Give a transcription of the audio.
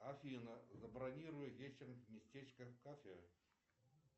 афина забронируй вечером местечко в кафе